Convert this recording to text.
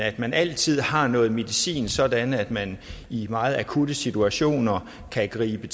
at man altid har noget medicin sådan at man i meget akutte situationer kan gribe